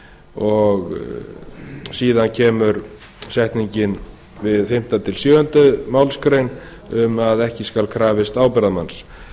stundað síðan kemur setningin við fimmta til sjöunda málsgrein um að ekki skal krafist ábyrgðarmanns